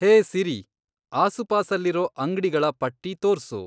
ಹೇ Siri ಆಸುಪಾಸಲ್ಲಿರೋ ಅಂಗ್ಡಿಗಳ ಪಟ್ಟಿ ತೋರ್ಸು